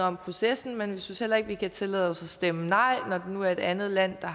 om processen men vi synes heller ikke vi kan tillade os at stemme nej når nu er et andet land der